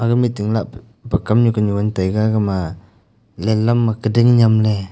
gama meeting lapu pa kam nu kanyu ngan taiga gama lehlam ma kading nyemley.